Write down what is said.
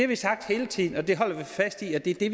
vi sagt hele tiden og det holder vi fast i det